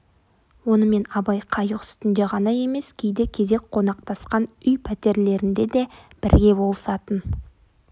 онымен абай қайық үстінде ғана емес кейде кезек қонақтасқан үй пәтерлерінде де бірге болысатын